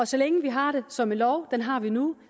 så længe vi har det som en lov den har vi nu